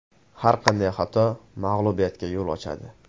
Har qanday xato mag‘lubiyatga yo‘l ochadi.